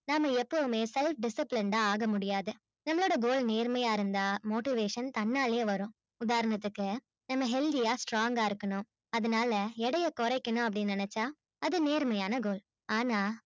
நம்ம எப்போவுமே self disciplined ஆ ஆகமுடியாது நம்மளோட goal நெருமையா இருந்தா motivation தான்னாலயே வரும் உதரணத்துக்கு நம்ம healthy ஆ strong ஆ இருக்கணும் அதுனால எடைய குறைக்கணும் நெனச்சா அது நேர்மையான goal ஆன்னா